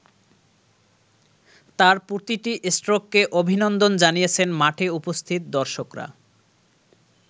তাঁর প্রতিটি স্ট্রোককে অভিনন্দন জানিয়েছেন মাঠে উপস্থিত দর্শকরা।